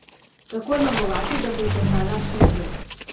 Kako jo negovati, da bo zdržala čim dlje?